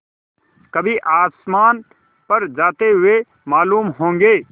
कभी आसमान पर जाते हुए मालूम होंगे